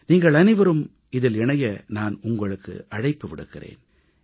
நீங்கள் அனைவரும் இதில் இணைய நான் உங்களுக்கு அழைப்பு விடுக்கிறேன்